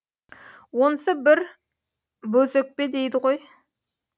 онысы бір бозөкпе дейді ғой